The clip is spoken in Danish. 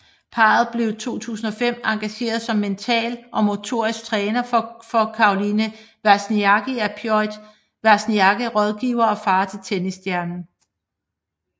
Parret blev 2005 engageret som mental og motorisk træner for Caroline Wozniacki af Piotr Wozniacki rådgiver og far til tennisstjernen